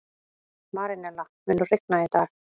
Marínella, mun rigna í dag?